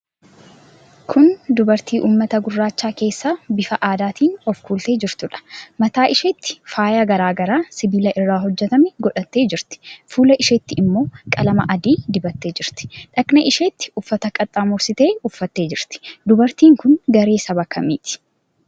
Kun dubartii uummata gurraacha keessaa bifa aadaatiin of kuultee jirtuudha. Mataa isheetti faayaa garaa garaa sibiila irraa hojjetame godhattee jirti. Fuula isheetti immoo qalama adii dibattee jirti. Dhaqna isheetti uffata qaxxaamursitee uffattee jirti. Dubartiin kun garee saba kamii keessaati?